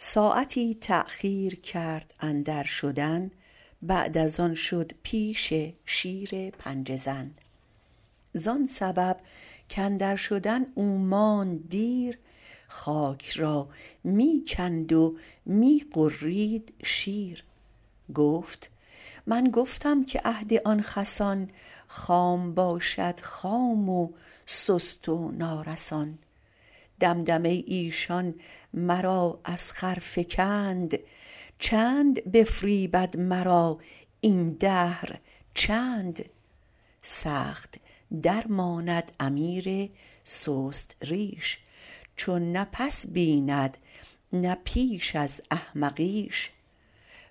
ساعتی تاخیر کرد اندر شدن بعد از آن شد پیش شیر پنجه زن زان سبب کاندر شدن او ماند دیر خاک را می کند و می غرید شیر گفت من گفتم که عهد آن خسان خام باشد خام و سست و نارسان دمدمه ی ایشان مرا از خر فکند چند بفریبد مرا این دهر چند سخت درماند امیر سست ریش چون نه پس بیند نه پیش از احمقیش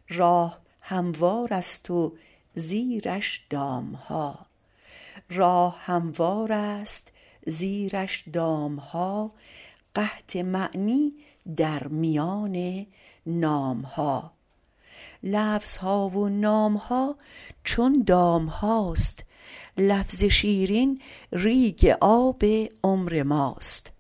راه هموارست زیرش دامها قحط معنی در میان نامها لفظها و نامها چون دامهاست لفظ شیرین ریگ آب عمر ماست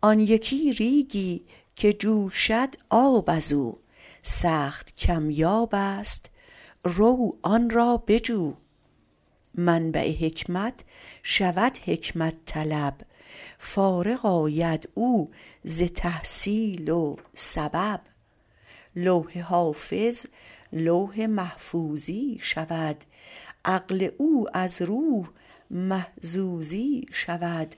آن یکی ریگی که جوشد آب ازو سخت کم یابست رو آن را بجو منبع حکمت شود حکمت طلب فارغ آید او ز تحصیل و سبب لوح حافظ لوح محفوظی شود عقل او از روح محظوظی شود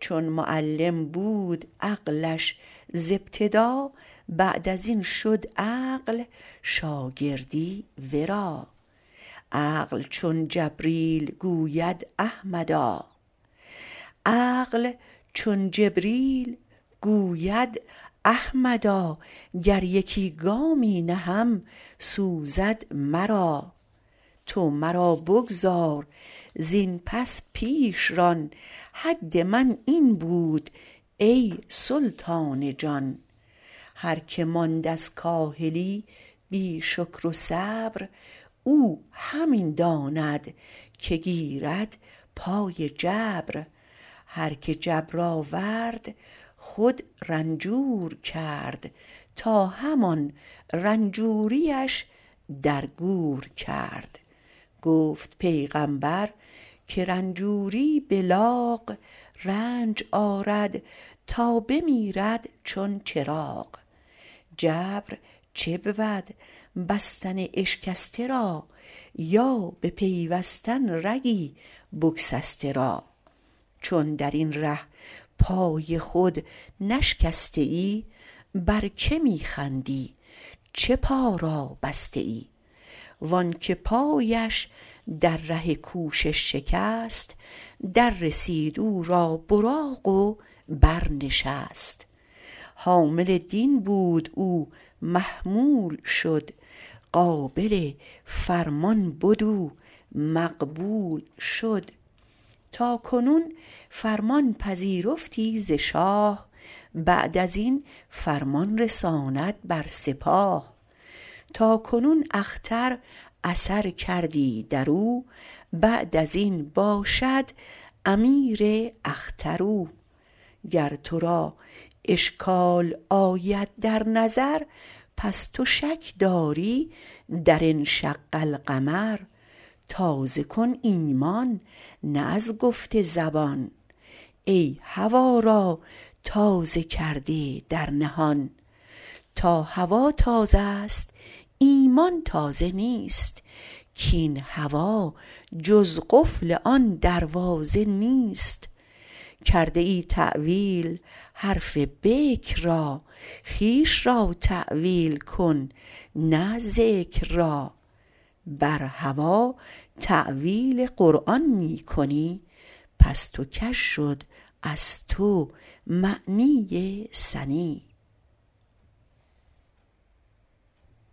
چون معلم بود عقلش ز ابتدا بعد ازین شد عقل شاگردی ورا عقل چون جبریل گوید احمدا گر یکی گامی نهم سوزد مرا تو مرا بگذار زین پس پیش ران حد من این بود ای سلطان جان هر که ماند از کاهلی بی شکر و صبر او همی داند که گیرد پای جبر هر که جبر آورد خود رنجور کرد تا همان رنجوریش در گور کرد گفت پیغمبر که رنجوری بلاغ رنج آرد تا بمیرد چون چراغ جبر چه بود بستن اشکسته را یا بپیوستن رگی بگسسته را چون درین ره پای خود نشکسته ای بر که می خندی چه پا را بسته ای وانک پایش در ره کوشش شکست دررسید او را براق و بر نشست حامل دین بود او محمول شد قابل فرمان بد او مقبول شد تاکنون فرمان پذیرفتی ز شاه بعد ازین فرمان رساند بر سپاه تاکنون اختر اثر کردی درو بعد ازین باشد امیر اختر او گر ترا اشکال آید در نظر پس تو شک داری در انشق القمر تازه کن ایمان نی از گفت زبان ای هوا را تازه کرده در نهان تا هوا تازه ست ایمان تازه نیست کاین هوا جز قفل آن دروازه نیست کرده ای تاویل حرف بکر را خویش را تاویل کن نه ذکر را بر هوا تاویل قرآن می کنی پست و کژ شد از تو معنی سنی